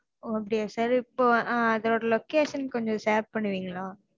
ஓஹ் அப்படியா sir இப்போ அதோட location கொஞ்சோம் share பண்ணுவிங்களா?